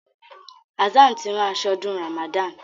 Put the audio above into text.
Hassan tí ran aso ọdún Ramadan.